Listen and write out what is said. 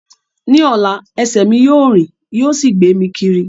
Ní ọ̀la, ẹsẹ̀ mi yóò rìn yóò sì gbé mi kiri